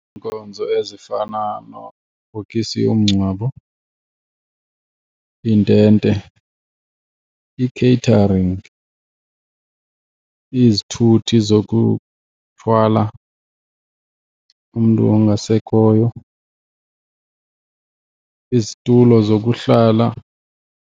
Iinkonzo ezifana nebhokosi yomngcwabo, iintente, i-catering, izithuthi zokuthwala umntu ongasekhoyo, izitulo zokuhlala.